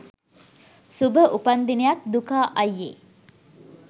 සුභ උපන් දිනයක් දුකා අයියෙ